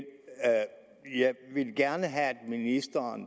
vil gerne have ministeren